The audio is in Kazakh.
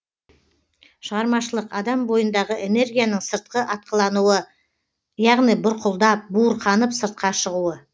шығармашылық адам бойындағы энергияның сыртқы атқылануы яғни бұрқылдап буырқанып сыртқа шығуы